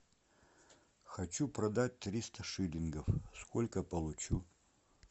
хочу продать триста шиллингов сколько получу